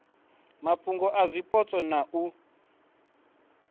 mafhungo a zwipotso na u